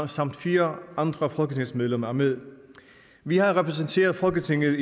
samt fire andre folketingsmedlemmer er med vi har repræsenteret folketinget